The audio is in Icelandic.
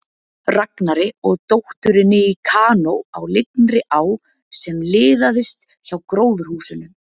Ragnari og dótturinni í kanó á lygnri á sem liðaðist hjá gróðurhúsunum.